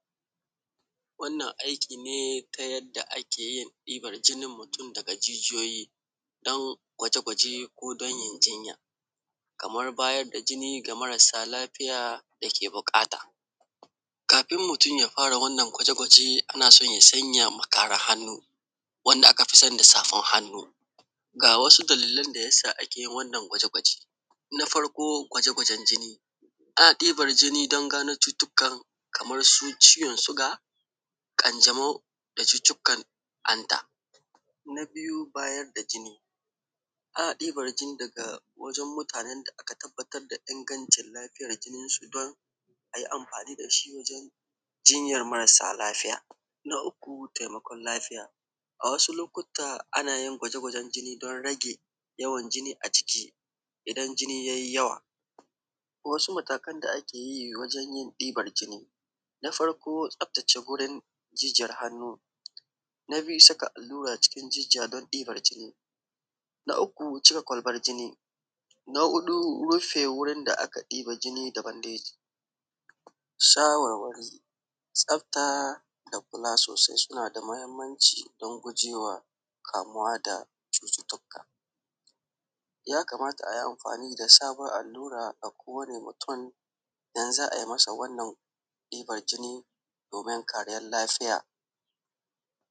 Wannan aiki ne ta yadda ake diban jinin mutum daga jijiyoyi don gwaje gwaje ko don in jinya kamar bayar da jini ga marasa lafiya dake buƙata. Kafin mutum ya fara wannan gwaje gwaje ana son yasan mu kara hannu wanda aka fi sani da safan hannu. Ga wasu dalilan da yasa ake wannan gwaje gwaje. Na farko gwaje gwajen jini, ana diban jini don gano cututukan kaman su ciwon suga ƙanjamo da cutukan hanta na biyu bayar da jini ana ɗiban jini daga wajen mutanen da aka tabbatar da ingancin lafiyar jininsu don ayi amfani dashi wajen jinyar marasa lafiya. Na uku taimakon lafiya,a wasu lokuta ana yin gwaje gwajen jini don rage yawan jini a jiki idan jini ye yawa, wasu matakan da ake bi wajen bin daukan jini. Na farko tsaftace jijiyan hannu. Na biyu saka allura cikin don dibar jini. Na uku cire kwalbar jini. Na huɗu rufe wurin da aka ɗibar jini da bandeji. Shawarwari tsafta da kula sosai suna da mahimmanci don gujewa kamuwa da cututuka, ya kamata ayi amfani da sabon allura a kowane mutum idan za a yi masa wannan diban jini domin kariyan lafiya.